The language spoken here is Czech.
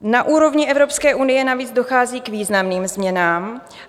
Na úrovni Evropské unie navíc dochází k významným změnám.